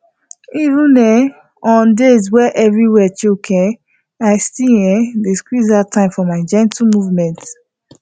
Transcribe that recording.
even on um days wey everywhere choke um i still um dey squeeze out time for my gentle movement